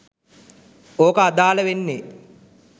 ඔක අදාල වෙන්නෙ